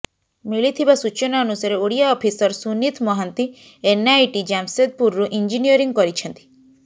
ମିଳିଥିବା ସୂଚନା ଅନୁସାରେ ଓଡ଼ିଆ ଅଫିସର୍ ସୁନିତ ମହାନ୍ତି ଏନଆଇଟି ଜାମ୍ସେଦପୁରରୁ ଇଂଜିନିୟରିଂ କରିଛନ୍ତି